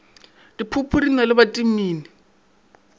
diphopho di na le bitamine